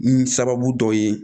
N sababu dɔw ye